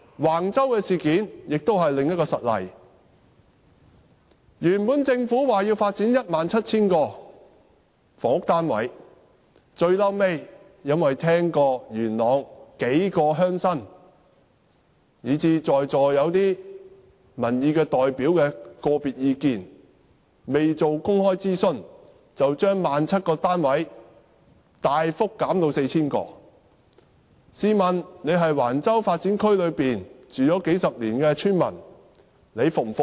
橫洲事件是另一個實例，政府本來說要發展 17,000 個房屋單位，後來聽到數位元朗鄉親及在席一些民意代表的個別意見後，未經公開諮詢便從 17,000 個單位大幅減至 4,000 個，試問在橫洲發展區居住了數十年的村民會否服氣？